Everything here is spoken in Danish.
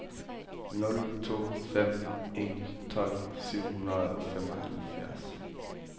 nul to fem en tolv syv hundrede og femoghalvfjerds